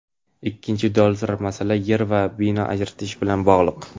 Ikkinchi dolzarb masala yer va bino ajratish bilan bog‘liq.